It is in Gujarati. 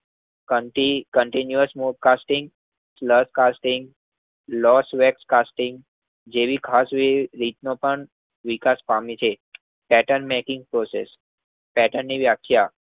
Continue smoke caustic lot caustic લોસવેસ કાસ્ટિંગ જેવી ખાસ વેતન પણ વિકાસ પામે છે. પેર્ટન મેકિંગ પ્રોસેસ પેર્ટનની વ્યાખ્યા